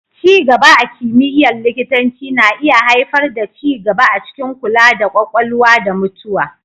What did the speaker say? Ci gaba a kimiyyar likitanci na iya haifar da ci gaba a cikin kula da Ƙwakwalwa da mutuwa.